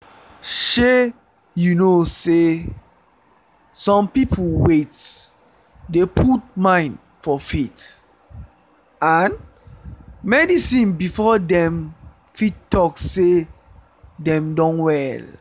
shey you know sey some people wait dey put mind for faith and medicine before dem fit talk sey dem don well